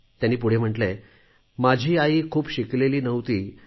त्यांनी पुढे म्हटले आहे माझी आई खूप शिकलेली नव्हती